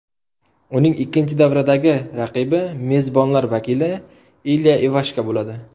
Uning ikkinchi davradagi raqibi mezbonlar vakili Ilya Ivashka bo‘ladi.